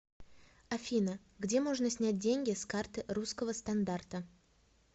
афина где можно снять деньги с карты русского стандарта